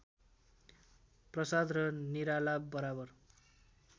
प्रसाद र निराला बराबर